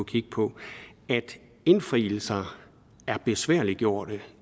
kigge på at indfrielser er besværliggjort